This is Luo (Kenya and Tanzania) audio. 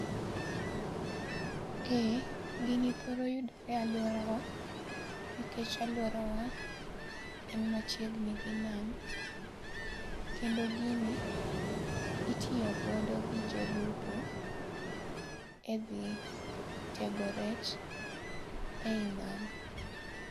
Eeh gini thoro yudore e alwora wa, nikech alwora wa en machiegni gi nam. Kendo gini, itiyogodo gi jolupo e dhi tego rech ei nam.